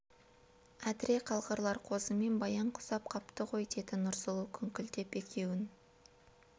әдіре қалғырлар қозы мен баян ғұсап қапты ғой деді нұрсұлу күңкілдеп екеуін